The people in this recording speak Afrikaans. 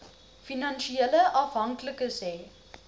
finansiële afhanklikes hê